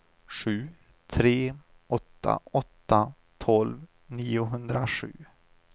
sju tre åtta åtta tolv niohundrasju